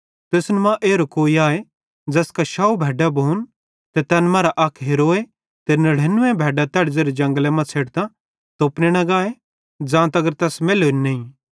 तुसन मां एरो कोई आए ज़ैसका 100 भैड्डां भोन ते तैन मरां अक हेरोए ते 99 भैड्डां तैड़ी ज़ेरे जंगले मां छ़ेडतां तोपने न गाए ज़ां तगर तैस मैल्लोरी नईं